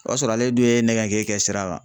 O y'a sɔrɔ ale dun ye nɛgɛ kɛ sira kan.